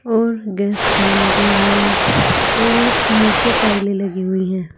और gas fan भी है और नीचे टाइले लगी हुई है।